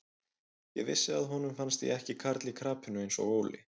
Ég vissi að honum fannst ég ekki karl í krapinu eins og Óli.